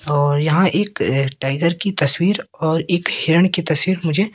और यहां एक टाइगर की तस्वीर और एक हिरन की तस्वीर मुझे--